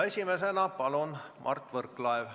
Esimesena palun Mart Võrklaev!